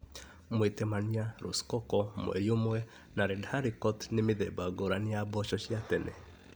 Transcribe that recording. Mwĩtemania, rosecoco, mweri ũmwe na red haricot nĩ mĩthemba ngũrani ya mboco cia tene.